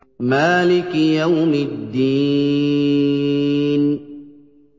مَالِكِ يَوْمِ الدِّينِ